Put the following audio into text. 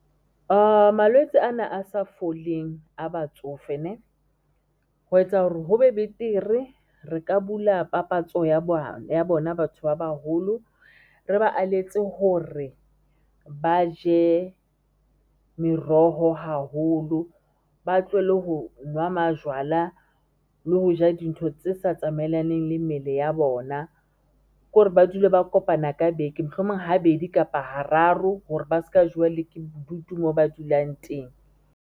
Malwetse ana a sa foleng a batsofe ho etsa hore ho be betere. Re ka bula papatso ya bona batho ba baholo, re ba aletse hore ba je meroho haholo, ba tlohelle ho nwa majwala le ho ja dintho tse sa tsamaelaneng le mmele ya bona, ko re ba dule ba kopana ka beke, mohlomong habedi kapa hararo hore ba ska jewa le ke bodutu moo ba dulang teng.